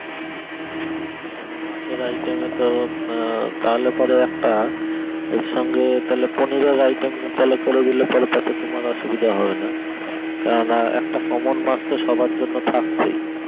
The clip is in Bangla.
তাহলে মাছের item এ তো তাহলে পরে একটা এর সঙ্গে তাহলে পনিরের item করে দিলে পরে তোমার অসুবিধা হবে না কেননা একটা common মাছ তো সবার জন্যই থাকছে